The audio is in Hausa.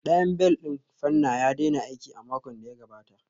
Ɗayan bel ɗin fanna ya daina aiki a makon da ya gabata